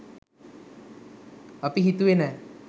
අපි හිතුවේ නෑ.